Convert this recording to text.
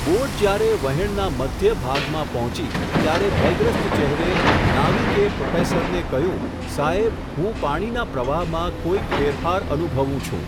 Boat જ્યારે વહેણના મધ્ય ભાગમાં પહોંચી, ત્યારે ભયગ્રસ્ત ચહેરે, નાવિકે પ્રોફેસરને કહ્યું સાહેબ, હું પાણીના પ્રવાહમાં કોઈક ફેરફાર અનુભવું છું.